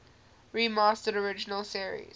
remastered original series